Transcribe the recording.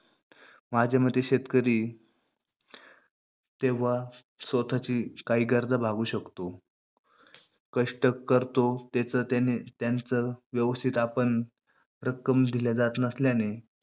माझ्या मते शेतकरी तेव्हा स्वतःची काही गरजा भागवू शकतो. कष्ट करतो, ते तर त्याने त्याचं व्यवस्थित आपण रक्कम दिल्या जात नसल्याने